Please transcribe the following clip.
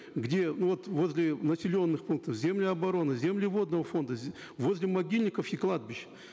где ну вот возле населенных пунктов земли обороны земли водного фонда возле могильников и кладбищ